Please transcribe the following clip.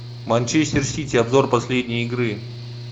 манчестер сити обзор последней игры